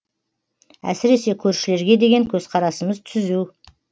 әсіресе көршілерге деген көзқарасымыз түзу